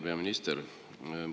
Hea peaminister!